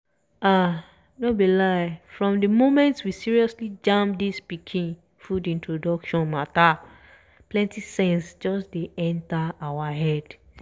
ah! no lie from di moment we seriously jam dis pikin food introduction matter plenti sense just enter our head